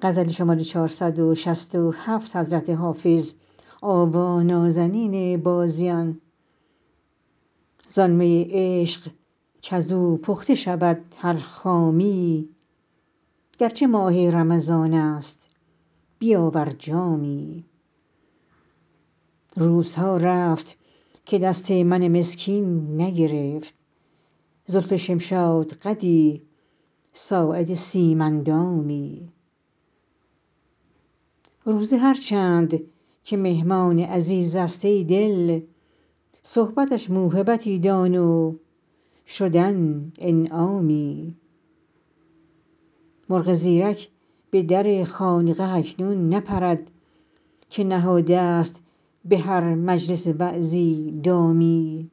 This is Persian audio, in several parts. زان می عشق کز او پخته شود هر خامی گر چه ماه رمضان است بیاور جامی روزها رفت که دست من مسکین نگرفت زلف شمشادقدی ساعد سیم اندامی روزه هر چند که مهمان عزیز است ای دل صحبتش موهبتی دان و شدن انعامی مرغ زیرک به در خانقه اکنون نپرد که نهاده ست به هر مجلس وعظی دامی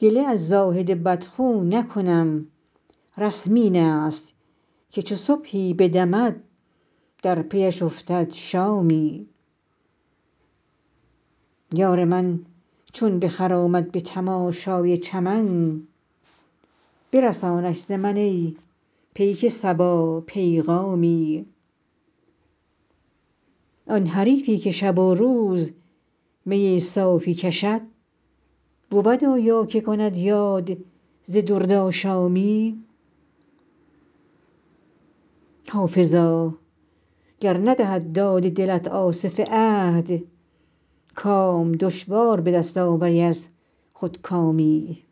گله از زاهد بدخو نکنم رسم این است که چو صبحی بدمد در پی اش افتد شامی یار من چون بخرامد به تماشای چمن برسانش ز من ای پیک صبا پیغامی آن حریفی که شب و روز می صاف کشد بود آیا که کند یاد ز دردآشامی حافظا گر ندهد داد دلت آصف عهد کام دشوار به دست آوری از خودکامی